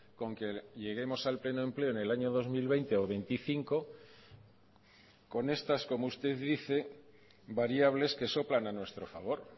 con que lleguemos al pleno empleo en el año dos mil veinte o veinticinco con estas como usted dice variables que soplan a nuestro favor